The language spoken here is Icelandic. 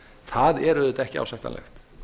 það er auðvitað ekki ásættanlegt